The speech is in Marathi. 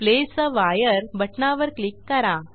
प्लेस आ वायर बटणावर क्लिक करा